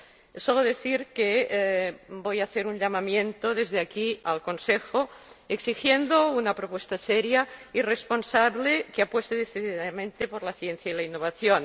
Solo quiero decir que voy a hacer un llamamiento desde aquí al Consejo exigiendo una propuesta seria y responsable que apueste decididamente por la ciencia y la innovación.